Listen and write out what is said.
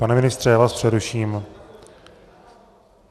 Pane ministře, já vás přeruším.